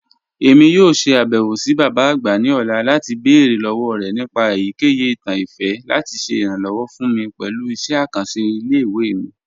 Emi yoo ṣe abẹwo si baba agba ni ọla lati beere lọwọ rẹ nipa eyikeyi itan ifẹ lati ṣe iranlọwọ fun mi pẹlu iṣẹ akanṣe ile-iwe mi.